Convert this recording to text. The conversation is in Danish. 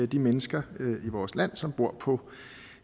de mennesker i vores land som bor på